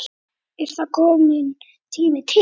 Það er kominn tími til.